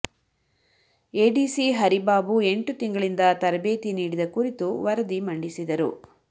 ADC Haribabu ಎಂಟು ತಿಂಗಳಿಂದ ತರಬೇತಿ ನೀಡಿದ ಕುರಿತು ವರದಿ ಮಂಡಿಸಿದರು